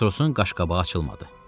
Matrosun qaşqabağı açılmadı.